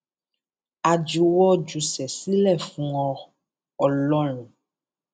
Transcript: a juwọ júṣe sílẹ sílẹ fún ọ ọlọrun